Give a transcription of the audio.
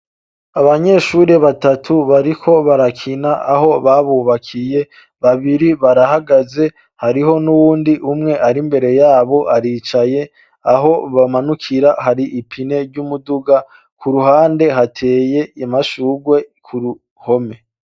Abanyeshure batatu bariko barakina aho babubakiye babiri barahagaze hariho n'uwundi umwe ari mbere yabo aricaye aho bamanukira hari ipine ry'umuduga ku ruhande hateye amashugwe kuruhome.